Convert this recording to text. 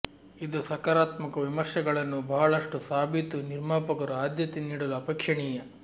ಇದು ಸಕಾರಾತ್ಮಕ ವಿಮರ್ಶೆಗಳನ್ನು ಬಹಳಷ್ಟು ಸಾಬೀತು ನಿರ್ಮಾಪಕರು ಆದ್ಯತೆ ನೀಡಲು ಅಪೇಕ್ಷಣೀಯ